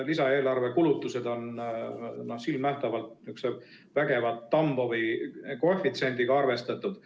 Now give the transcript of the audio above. Lisaeelarve kulutused on silmnähtavalt vägeva Tambovi koefitsiendiga arvestatud.